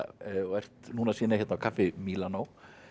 og ert núna að sýna hér á kaffi Mílanó